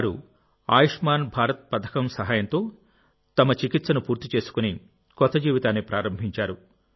వారు ఆయుష్మాన్ భారత్ పథకం సహాయంతో తమ చికిత్సను పూర్తి చేసి కొత్త జీవితాన్ని ప్రారంభించారు